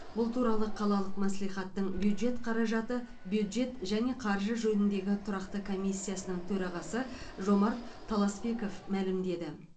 бұл туралы қалалық мәслихаттың бюджет қаражаты бюджет және қаржы жөніндегі тұрақты комиссиясының төрағасы жомарт таласпеков мәлімдеді